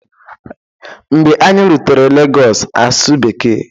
Mgbe anyị rutere Lagos, asụ bekee